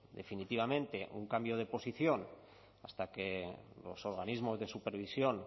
definitivamente un cambio de posición hasta que los organismos de supervisión